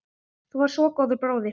Þú varst svo góður bróðir.